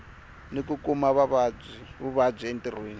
ni ku kuma vuvabyi entirhweni